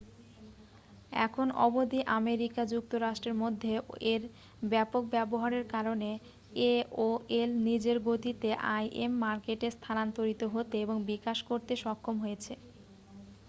এখন অবধি আমেরিকা যুক্তরাষ্ট্রের মধ্যে এর ব্যাপক ব্যবহারের কারণে aol নিজের গতিতে im মার্কেটে স্থানান্তরিত হতে এবং বিকাশ করতে সক্ষম হয়েছে